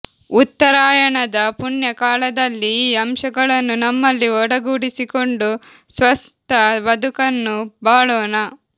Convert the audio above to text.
ಉತ್ತರಾಯಣದ ಪುಣ್ಯಕಾಲದಲ್ಲಿ ಈ ಅಂಶಗಳನ್ನು ನಮ್ಮಲ್ಲಿ ಒಡಗೂಡಿಸಿಕೊಂಡು ಸ್ವಸ್ಥ ಬದುಕನ್ನು ಬಾಳೋಣ